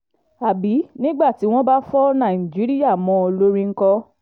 àbí nígbà tí wọ́n bá fọ nàìjíríà mọ́ ọn lórí ńkọ́